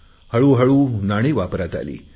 हळूहळू नाणी वापरात आली